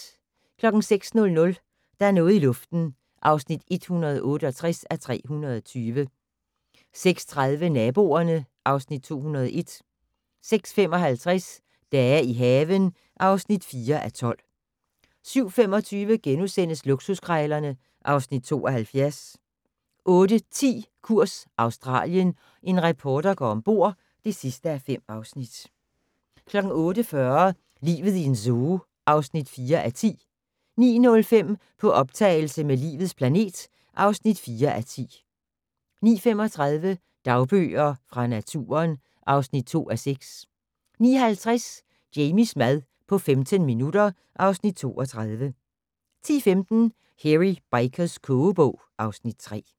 06:00: Der er noget i luften (168:320) 06:30: Naboerne (Afs. 201) 06:55: Dage i haven (4:12) 07:25: Luksuskrejlerne (Afs. 72)* 08:10: Kurs Australien - en reporter går ombord (5:5) 08:40: Livet i en zoo (4:10) 09:05: På optagelse med "Livets planet" (4:10) 09:35: Dagbøger fra naturen (2:6) 09:50: Jamies mad på 15 minutter (Afs. 32) 10:15: Hairy Bikers kogebog (Afs. 3)